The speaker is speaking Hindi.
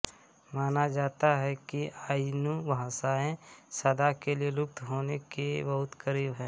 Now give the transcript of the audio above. माना जाता है कि आइनू भाषाएँ सदा के लिए लुप्त होने के बहुत क़रीब हैं